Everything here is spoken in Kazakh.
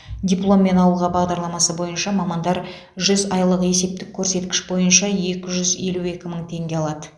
дипломмен ауылға бағдарламасы бойынша мамандар жүз айлық есептік көрсеткіш бойынша екі жүз елу екі мың теңге алады